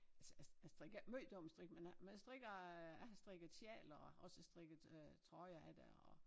Jeg strikker ikke måj dominostrik men jeg men jeg strikker øh jeg har strikket sjaler og også strikket øh trøjer af det og